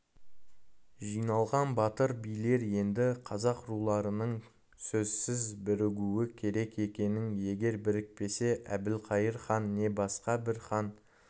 жи-налған батыр билер енді қазақ руларының сөзсіз бірігуі керек екенін егер бірікпесе әбілқайыр хан не басқа бір хан